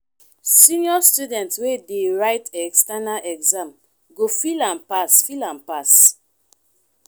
senior students wey dey write external exam go feel am pass feel am pass